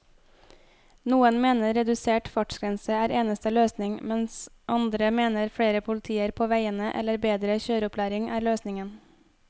Noen mener reduserte fartsgrenser er eneste løsning, mens andre mener flere politier på veiene eller bedre kjøreopplæring er løsningen.